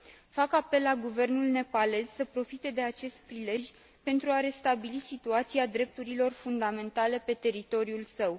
Fac apel la guvernul nepalez să profite de acest prilej pentru a restabili situația drepturilor fundamentale pe teritoriul său.